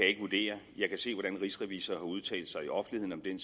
ikke vurdere jeg kan se hvordan rigsrevisor har udtalt sig i offentligheden